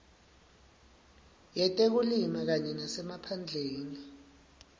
yetekulima kanye nasemaphandleni